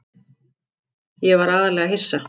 Ég var aðallega hissa.